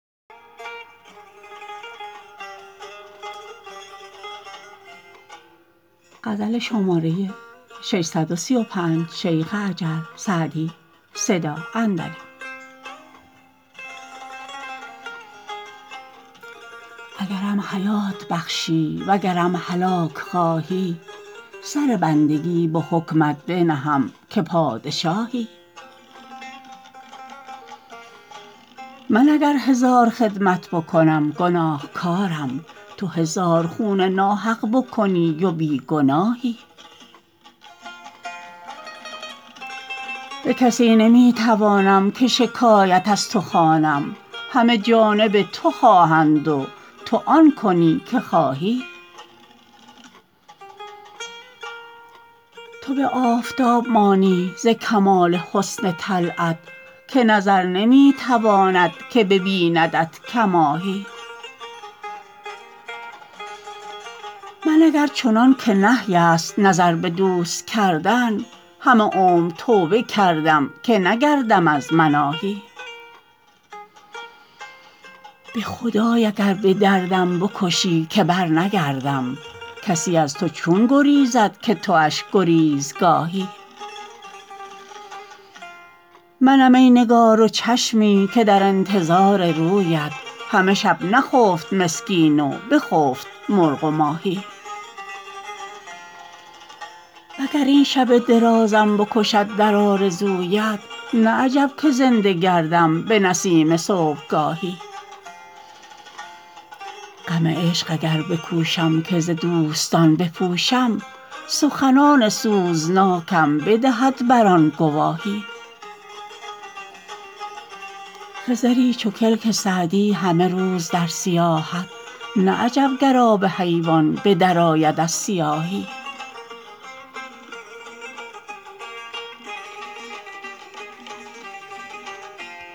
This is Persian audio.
اگرم حیات بخشی وگرم هلاک خواهی سر بندگی به حکمت بنهم که پادشاهی من اگر هزار خدمت بکنم گناهکارم تو هزار خون ناحق بکنی و بی گناهی به کسی نمی توانم که شکایت از تو خوانم همه جانب تو خواهند و تو آن کنی که خواهی تو به آفتاب مانی ز کمال حسن طلعت که نظر نمی تواند که ببیندت کماهی من اگر چنان که نهی است نظر به دوست کردن همه عمر توبه کردم که نگردم از مناهی به خدای اگر به دردم بکشی که برنگردم کسی از تو چون گریزد که تواش گریزگاهی منم ای نگار و چشمی که در انتظار رویت همه شب نخفت مسکین و بخفت مرغ و ماهی و گر این شب درازم بکشد در آرزویت نه عجب که زنده گردم به نسیم صبحگاهی غم عشق اگر بکوشم که ز دوستان بپوشم سخنان سوزناکم بدهد بر آن گواهی خضری چو کلک سعدی همه روز در سیاحت نه عجب گر آب حیوان به درآید از سیاهی